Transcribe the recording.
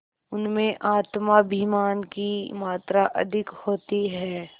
उनमें आत्माभिमान की मात्रा अधिक होती है